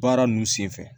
Baara nunnu senfɛ